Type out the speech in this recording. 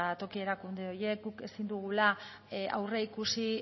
toki erakunde horiek guk ezin dugula aurreikusi